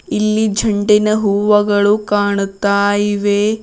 ಇಲ್ಲಿ ಜಂಡಿನ ಹೂವಗಳು ಕಾಣುತ್ತಾ ಇವೆ.